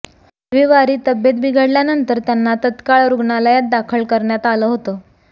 रविवारी तब्येत बिघडल्यानंतर त्यांना तत्काळ रुग्णालयात दाखल करण्यात आलं होतं